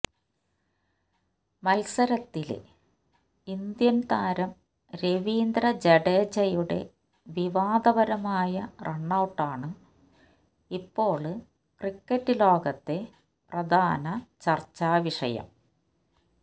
മല്സരത്തില് Indian താരം രവീന്ദ്ര ജഡേജയുടെ വിവാദ പരമായ റണ്ണൌട്ടാണ് ഇപ്പോള് ക്രിക്കറ്റ് ലോകത്തെ പ്രധാന ചര്ച്ചാ വിഷയം